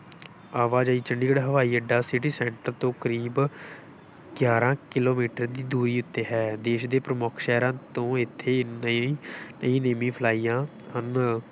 ਆਵਾਜਾਈ ਚੰਡੀਗੜ੍ਹ ਹਵਾਈ-ਅੱਡਾ city center ਤੋਂ ਕਰੀਬ ਗਿਆਰਾਂ ਕਿੱਲੋਮੀਟਰ ਦੀ ਦੂਰੀ ਉੱਤੇ ਹੈ, ਦੇਸ਼ ਦੇ ਪ੍ਰਮੁੱਖ ਸ਼ਹਿਰਾਂ ਤੋਂ ਇੱਥੇ ਲਈ ਲਈ ਨੇਮੀ ਫਲਾਈਆਂ ਹਨ।